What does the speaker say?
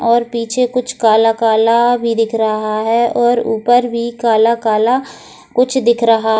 और पीछे कुछ काला-काला भी दिख रहा है और ऊपर भी काला-काला कुछ दिख रहा।